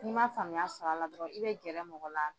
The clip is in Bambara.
N'i ma faamuya sɔr'a la dɔrɔn i be gɛrɛ mɔgɔ la